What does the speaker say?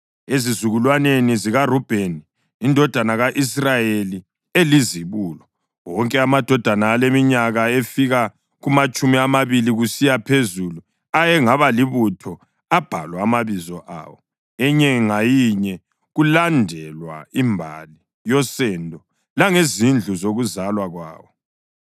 Ezizukulwaneni zikaRubheni indodana ka-Israyeli elizibulo: Wonke amadoda aleminyaka efika kumatshumi amabili kusiya phezulu ayengaba libutho abhalwa amabizo awo, inye ngayinye, kulandelwa imbali yosendo langezindlu zokuzalwa kwawo.